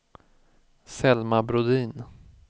Selma Brodin